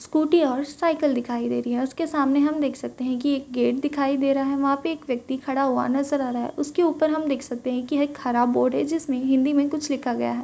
Scooty और cycle दिखाई दे रही है और उसके सामने हम देख सकते है कि एक गेट दिखाई दे रहा है। वहाँ पे एक व्यक्ति खड़ा हुआ नजर आ रहा है। उसके ऊपर हम देख सकते है कि एक हरा बोर्ड है जिसमें हिंदी में कुछ लिखा गया है।